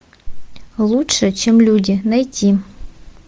лучше чем люди найти